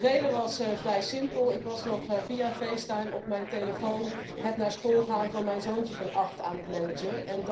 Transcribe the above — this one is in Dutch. De reden was vrij simpel ik was nog via FaceTime op mijn telefoon het naar school gaan van mijn zoontje van acht aan het managen.